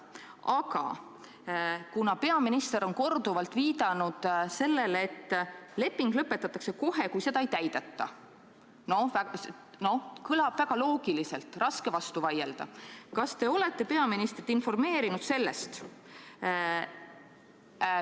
Aga kuna peaminister on korduvalt viidanud, et leping lõpetatakse kohe, kui seda ei täideta – kõlab väga loogiliselt, raske on vastu vaielda –, siis kas te olete peaministrit kõigest informeerinud?